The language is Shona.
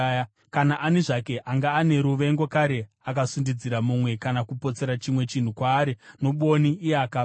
Kana ani zvake anga ane ruvengo kare akasundidzira mumwe kana kupotsera chimwe chinhu kwaari nobwoni iye akafa,